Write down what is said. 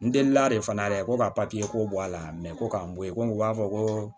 N delila de fana dɛ ko ka papiye ko bɔ a la ko k'an bɔ yen ko u b'a fɔ ko